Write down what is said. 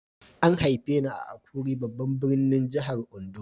An haife ni a Akure babban birnin jihar Ondo.